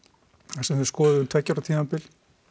þar sem við skoðuðum tveggja ára tímabil